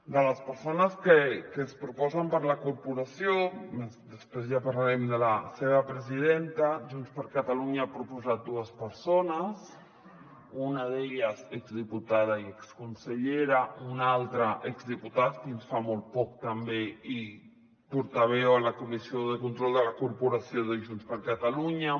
de les persones que es proposen per a la corporació després ja parlarem de la seva presidenta junts per catalunya ha proposat dues persones una d’elles exdiputada i exconsellera un altre exdiputat fins fa molt poc també i portaveu a la comissió de control de la corporació de junts per catalunya